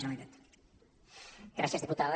gràcies diputada